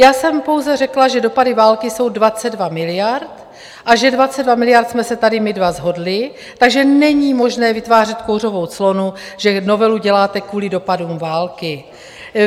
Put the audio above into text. Já jsem pouze řekla, že dopady války jsou 22 miliard a že 22 miliard jsme se tady my dva shodli, takže není možné vytvářet kouřovou clonu, že novelu děláte kvůli dopadům války.